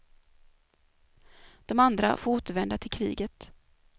De andra får återvända till kriget.